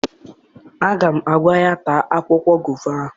Aga m agwa ya taa akwụkwọ gova!